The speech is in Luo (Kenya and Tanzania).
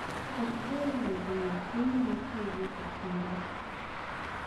Okber wuotho eyo kendi kaiwuok e chiro.